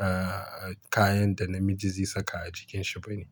eh, kayan da namiji zai saka a jikin shi bane.